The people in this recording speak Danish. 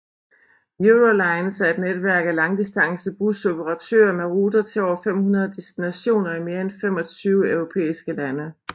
Eurolines er et netværk af langdistance busoperatører med ruter til over 500 destinationer i mere end 25 europæiske lande